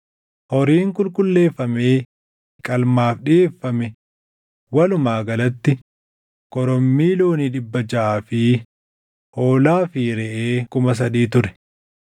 Horiin qulqulleeffamee qalmaaf dhiʼeeffame walumaa galatti korommii loonii dhibba jaʼaa fi hoolaa fi reʼee kuma sadii ture.